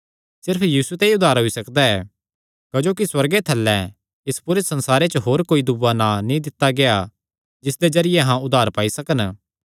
सिर्फ यीशु ते ई उद्धार होई सकदा क्जोकि सुअर्गे थल्लैं इस पूरे संसारे च होर कोई दूआ नां नीं दित्ता गेआ जिसदे जरिये अहां उद्धार पाई सकन